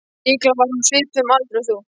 Líklega var hún á svipuðum aldri og þú.